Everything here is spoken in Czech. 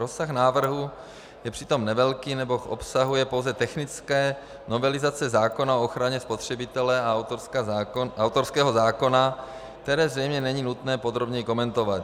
Rozsah návrhu je přitom nevelký, neboť obsahuje pouze technické novelizace zákona o ochraně spotřebitele a autorského zákona, které zřejmě není nutné podrobněji komentovat.